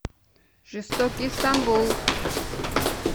жестокий стамбул